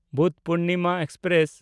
Buddhapurnima express